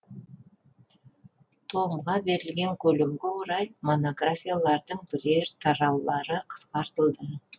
томға берілген көлемге орай монографиялардың бірер тараулары қысқартылды